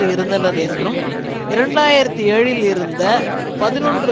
இருந்தனர் என்றும் இரண்டு ஆயிரத்தி ஏழில் இருந்த பதினொன்று